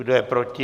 Kdo je proti?